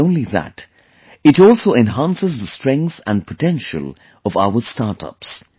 Not only that, it also enhances the strength and potential of our startups